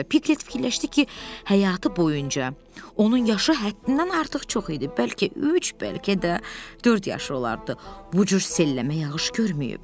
Piqlet fikirləşdi ki, həyatı boyunca onun yaşı həddindən artıq çox idi, bəlkə üç, bəlkə də dörd yaşı olardı, bu cür selləmə yağış görməyib.